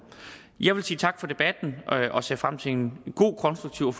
jeg vil sige tak for debatten og se frem til en god konstruktiv og